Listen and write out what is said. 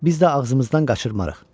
biz də ağzımızdan qaçırmarıq.